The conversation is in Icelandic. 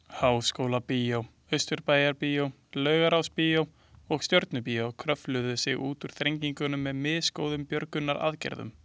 Háskólabíó, Austurbæjarbíó, Laugarásbíó og Stjörnubíó kröfluðu sig út úr þrengingunum með misgóðum björgunaraðgerðum.